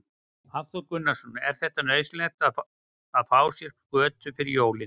Hafþór Gunnarsson: Er þetta nauðsynlegt að fá sér skötu fyrir jólin?